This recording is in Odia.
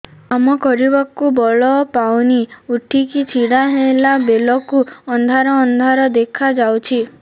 କାମ କରିବାକୁ ବଳ ପାଉନି ଉଠିକି ଛିଡା ହେଲା ବେଳକୁ ଅନ୍ଧାର ଅନ୍ଧାର ଦେଖା ଯାଉଛି